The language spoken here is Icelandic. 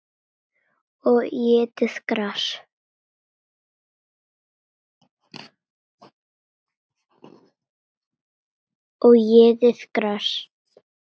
Og étið gras.